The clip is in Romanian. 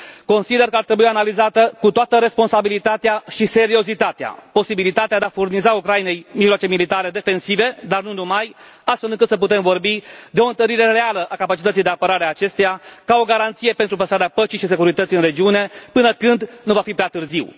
Consider că ar trebui analizată, cu toată responsabilitatea și seriozitatea, posibilitatea de a furniza Ucrainei mijloace militare defensive, dar nu numai, astfel încât să putem vorbi de o întărire reală a capacității de apărare a acesteia, ca o garanție pentru păstrarea păcii și securității în regiune, până când nu va fi prea târziu.